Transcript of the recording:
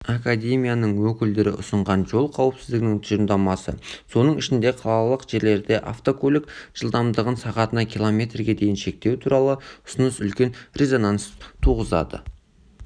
академияның өкілдері ұсынған жол қауіпсізідігінің тұжырымдамасы соның ішінде қалалық жерлерде автокөлік жылдамдығын сағатына километрге дейін шектеу туралы ұсыныс үлкен резонанс туғызды